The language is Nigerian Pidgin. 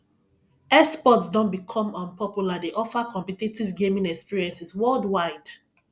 esports don become um popular dey offer competitive gaming experiences worldwide